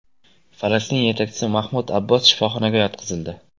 Falastin yetakchisi Mahmud Abbos shifoxonaga yotqizildi.